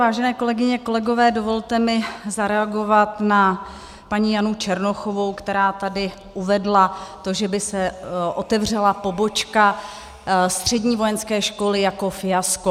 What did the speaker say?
Vážené kolegyně, kolegové, dovolte mi zareagovat na paní Janu Černochovou, která tady uvedla to, že by se otevřela pobočka střední vojenské školy, jako fiasko.